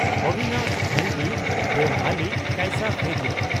ᱚᱵᱷᱤᱱᱟᱥ ᱵᱷᱚᱞᱵᱷᱤ (ᱫᱮᱦᱣᱟᱞᱤ) ᱠᱟᱭᱥᱟ ᱯᱷᱮᱡᱮ (ᱢᱟᱼᱚ)